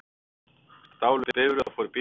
Stálu bifreið og fóru í bíltúr